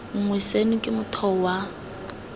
nngwe seno ke motheo wa